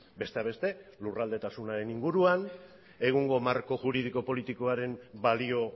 besteak beste lurraldetasunaren inguruan egungo marko juridiko politikoaren balio